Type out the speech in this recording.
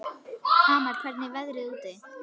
Amal, hvernig er veðrið úti?